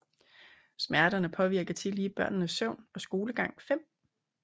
Smerterne påvirker tillige børnenes søvn og skolegang5